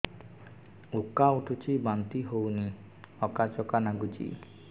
ଉକା ଉଠୁଚି ବାନ୍ତି ହଉନି ଆକାଚାକା ନାଗୁଚି